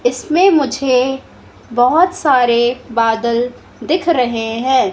इसमें मुझे बहुत सारे बादल दिख रहे हैं।